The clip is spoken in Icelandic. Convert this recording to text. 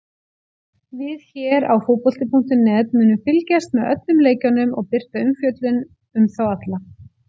Við hér á fótbolti.net munum fylgjast með öllum leikjunum og birta umfjöllun um þá alla.